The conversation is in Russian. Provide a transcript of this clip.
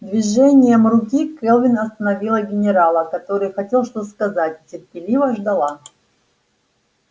движением руки кэлвин остановила генерала который хотел что-то сказать и терпеливо ждала